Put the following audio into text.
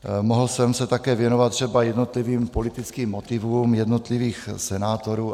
Mohl jsem se také věnovat třeba jednotlivým politickým motivům jednotlivých senátorů.